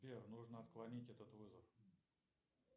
сбер нужно отклонить этот вызов